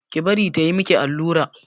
Ki bari ta yi miki allura!